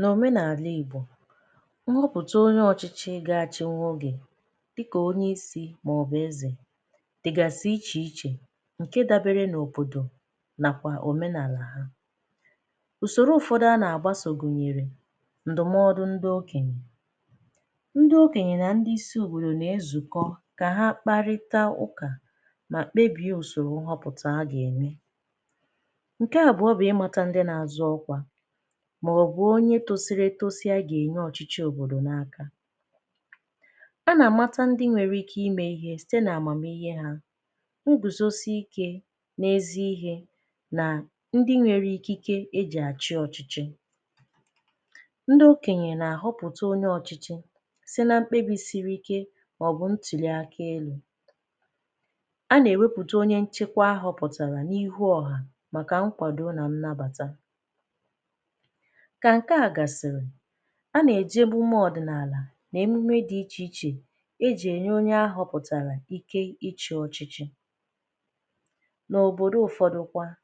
N’òmenala Igbo, nhọpụta onye ọchịchị gaghị achị n’ụbọchị, dị ka onye isi maọbụ eze, dịgasị iche iche nke dabere n’ọbọdọ na òmenala ha. Ụzọ ụfọdụ a na-agbaso gụnyere ndụmọdụ ndị okènyè. Ndị okènyè na ndị isi ùbòrò na-ezukọ ka ha kparịta ụka ma kpebie ụzọ nhọpụta a ga-eme maọbụ onye tozuru etozu ga-enye ọchịchị obodo n’aka. A na-amata ndị nwere ike ime ihe site n’amamihe ha, nguzosi ike n’ezi ihe, na ndị nwere ikike e jiri achị ọchịchị. Ndị okènyè na-ahọpụta onye ọchịchị si n’ime mkpebi siri ike maọbụ ntuli aka. E wepụtacha onye nchekwa ahụ pụtara n’ihu ọha maka nkwado na nnabata. Ka nke a gasịrị, a na-eje mmemme n’ala na-ememe dị iche iche eji enye onye ahọpụtara ike ịchị ọchịchị. N’ọtụtụkwa ebe,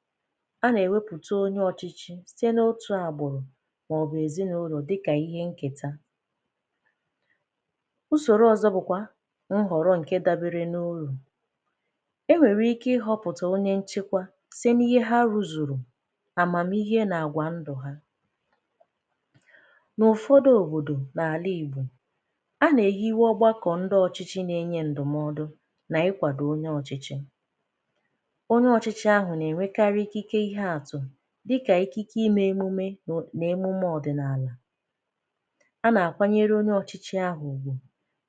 a na-ewepụta onye ọchịchị site n’otu agbụrụ maọbụ ezinụlọ dị ka ihe nketa. Ụzọ ọzọ bụkwa nhọrọ nke dabere n’ụlọ e nwere ike họpụta onye nchekwa site n’ihe ha rụzuru. N’ụfọdụ obodo n’ala Igbo, a na-eyiwe ọgbà kọ ndị ọchịchị n’enye ndụmọdụ na ịkwado onye ọchịchị. Onye ọchịchị ahụ na-enwekarị ikike dị iche iche, dịka ikike ime emume na emume ọdịnala. A na-akwanyere onye ọchịchị ahụ ùgwù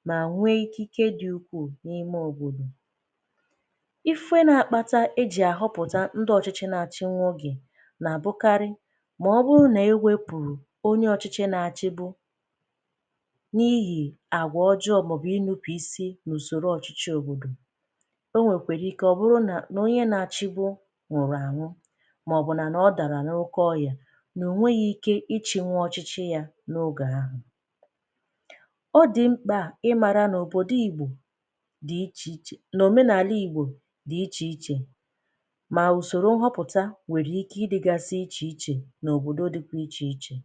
ma nwee ike dị ukwuu n’ime obodo. Ife na-akpata eji ahọpụta ndị ọchịchị na-achị nwa oge bụ mgbe onye ọchịchị na-achịgbu n’ihi àgwà ọjọọ maọbụ ịnụpụ isi n’usoro ọchịchị obodo. O nwekwara ike ọ bụrụ na onye na-achịgbu nwụrụ anwụ, maọbụ na ọ dara n’oke ọrịa na o nweghi ike ịchị nwa ọchịchị ya n’oge ahụ. Ọ̀ dị mkpa ịmara na obodo Igbo dị iche iche, na omenala Igbo dị iche iche, ma usoro nhọpụta nwekwara ike ịdịgasị iche iche.